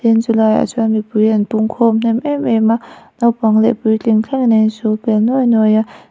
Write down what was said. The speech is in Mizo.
tin chulaiah chuan mipui an pung khawm hnem em em a naupang leh puitling thlengin an sul pel nuai nuai a.